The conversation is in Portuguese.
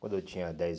Quando eu tinha dez